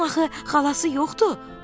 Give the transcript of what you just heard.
Onun axı xalası yoxdur.